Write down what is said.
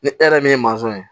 Ni e yɛrɛ min ye ye